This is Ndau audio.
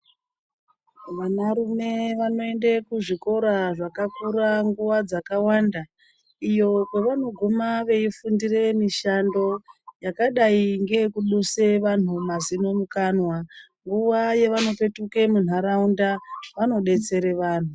Vanarume vanoende kuzvikora zvakakura nguva dzakawanda, iyo kwevanoguma veifundire mishando yakadai ngeyekuduse vanhu mazino mukanwa. Nguva yavanopetuke munharaunda ,vanodetsere vanhu.